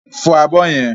Fọ abọ́ yẹn!